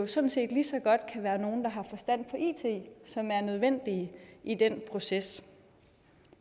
sådan set lige så godt kan være nogle der har forstand på it som er nødvendige i den proces